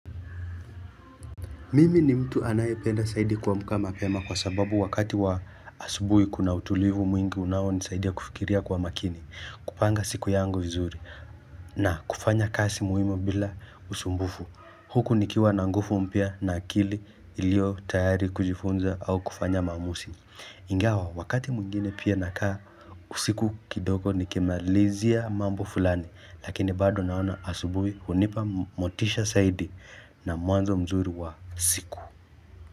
Mimi ni mtu anayependa zaidi kuamka mapema kwa sababu wakati wa asubuhi kuna utulivu mwingi unaonisaidia kufikiria kwa makini, kupanga siku yangu vizuri, na kufanya kazi muhimu bila usumbufu. Huku nikiwa na nguvu mpya na akili iliyo tayari kujifunza au kufanya maamuzi. Ingawa wakati mwingine pia nakaa usiku kidogo nikimalizia mambo fulani lakini bado naona asubuhi hunipa motisha zaidi na muanzo mzuri wa siku.